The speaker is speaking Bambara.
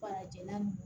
Farajɛla